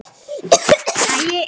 Ekki bara sumt.